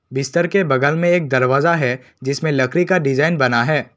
बिस्तर के बगल में एक दरवाजा है जिसमें लकड़ी का डिजाइन बना है।